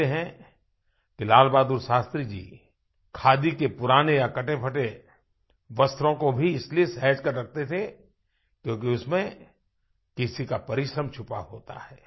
कहते हैं कि लाल बहादुर शास्त्री जी खादी के पुराने या कटेफटे वस्त्रों को भी इसलिए सहज कर रखते थे क्योंकि उसमें किसी का परिश्रम छुपा होता है